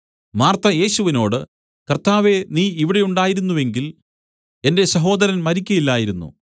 Martha യേശുവിനോടു കർത്താവേ നീ ഇവിടെ ഉണ്ടായിരുന്നു എങ്കിൽ എന്റെ സഹോദരൻ മരിക്കയില്ലായിരുന്നു